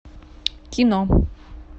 кино